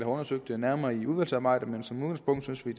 undersøgt nærmere i udvalgsarbejdet men som udgangspunkt synes vi